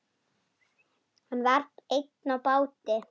Hann var einn á báti.